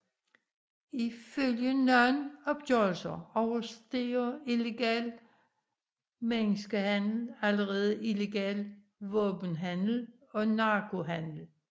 Ifølge nogle opgørelser overstiger illegal menneskehandel allerede illegal våbenhandel og narkohandel